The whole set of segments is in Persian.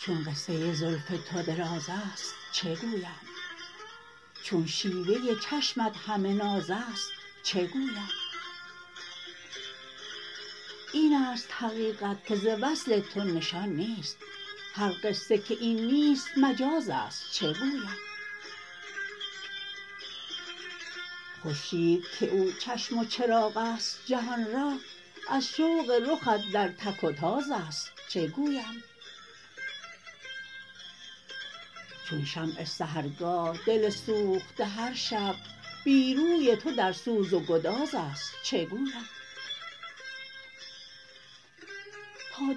چون قصه زلف تو دراز است چگویم چون شیوه چشمت همه ناز است چگویم این است حقیقت که ز وصل تو نشان نیست هر قصه که این نیست مجاز است چگویم خورشید که او چشم و چراغ است جهان را از شوق رخت در تک و تاز است چگویم چون شمع سحرگاه دل سوخته هر شب بی روی تو در سوز و گداز است چگویم تا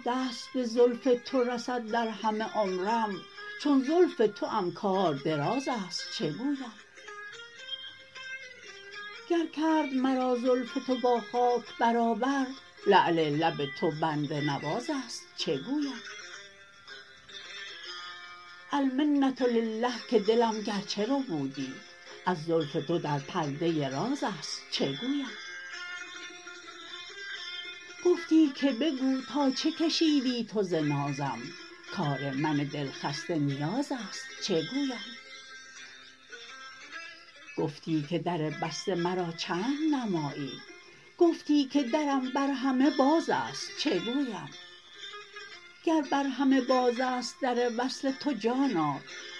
دست به زلف تو رسد در همه عمرم چون زلف توام کار دراز است چگویم گر کرد مرا زلف تو با خاک برابر لعل لب تو بنده نواز است چگویم المنه لله که دلم گرچه ربودی از زلف تو در پرده راز است چگویم گفتی که بگو تا چه کشیدی تو ز نازم کار من دلخسته نیاز است چگویم گفتم که در بسته مرا چند نمایی گفتی که درم بر همه باز است چگویم گر بر همه باز است در وصل تو جانا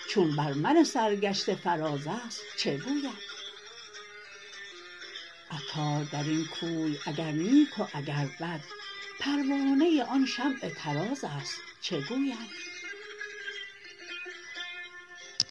چون بر من سرگشته فراز است چگویم عطار درین کوی اگر نیک و اگر بد پروانه آن شمع طراز است چگویم